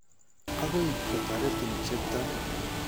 Akoi ko toretin Cheptoo .